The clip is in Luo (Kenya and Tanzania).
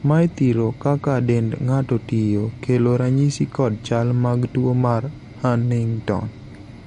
mae thiro kaka dend ng'ato tiyo ,kelo ranyisi kod chal mag tuo mar hunington